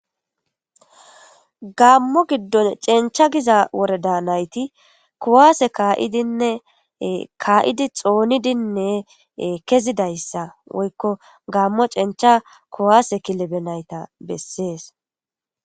Gamo gidon c'encha giza worada nayti kuwase ka'idine ka'di xonidine kezidaysa woyko gamo c'encha kuwase kilebe nayta beses.